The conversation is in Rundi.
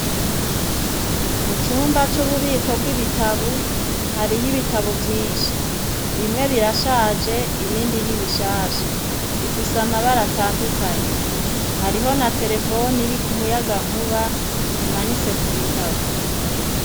Mu cumba c'ububiko bw'ibitabo, hariyo ibitabo vyinshi. Bimwe birashaje, ibindi ni bishasha. Bifise amabara atandukanye. Hariho na terefone iri ku muyagankuba imanitse ku bitabo.